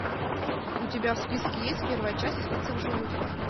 у тебя в списке есть первая часть остаться в живых